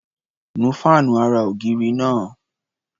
Nu fáànù ara-ògiri náá̀.